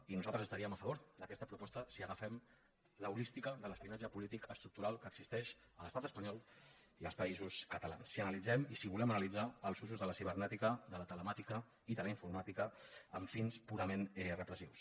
i nosaltres estaríem a favor d’aquesta proposta si agafem l’holística de l’espionatge polític estructural que existeix a l’estat espanyol i als països catalans i si volem analitzar els recursos de la cibernètica de la telemàtica i de la informàtica amb fins purament repressius